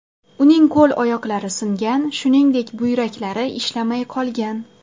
Uning qo‘l-oyoqlari singan, shuningdek, buyraklari ishlamay qolgan.